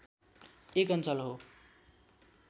एक अञ्चल हो